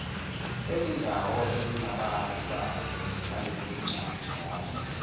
ezindawo ezinababazi ngalencwajana